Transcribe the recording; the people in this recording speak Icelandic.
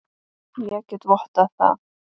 Ég get vottað það.